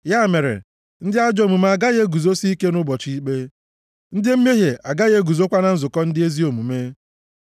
Ya mere, ndị ajọ omume agaghị eguzosi ike nʼụbọchị ikpe; ndị mmehie agaghị eguzokwa na nzukọ ndị ezi omume.